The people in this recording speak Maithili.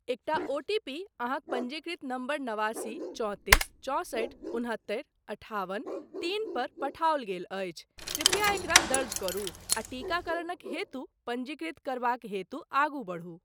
एकटा ओटीपी अहाँक पञ्जीकृत नंबर नवासी चौंतीस चौंसठि उनहत्तरि अठाबन तीन पर पठाओल गेल अछि, कृपया एकरा दर्ज करू आ टीकाकरणक हेतु पञ्जीकृत करबाक हेतु आगू बढ़ू।